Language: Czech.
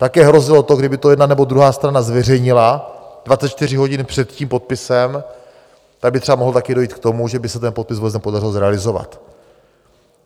Také hrozilo to, kdyby to jedna nebo druhá strana zveřejnila 24 hodin před tím podpisem, tak by třeba mohlo také dojít k tomu, že by se ten podpis vůbec nepodařilo zrealizovat.